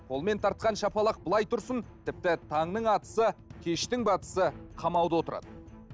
қолмен тартқан шапалақ былай тұрсын тіпті таңның атысы кештің батысы қамауда отырады